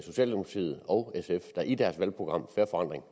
socialdemokratiet og sf der i deres valgprogram fair forandring